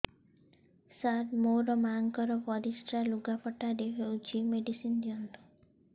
ସାର ମୋର ମାଆଙ୍କର ପରିସ୍ରା ଲୁଗାପଟା ରେ ହଉଚି ମେଡିସିନ ଦିଅନ୍ତୁ